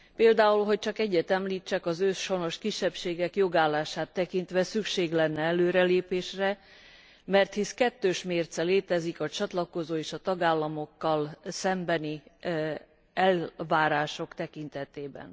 Például, hogy csak egyet említsek, az őshonos kisebbségek jogállását tekintve szükség lenne előrelépésre, mert hisz kettős mérce létezik a csatlakozó és a tagállamokkal szembeni elvárások tekintetében.